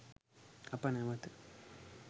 අප නැවත